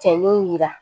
Cɛnnin yira